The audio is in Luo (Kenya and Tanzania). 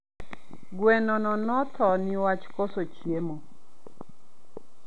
Gweno no nothoo niwach koso chiemo